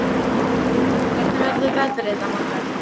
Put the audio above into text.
Þórinn, hvernig verður veðrið á morgun?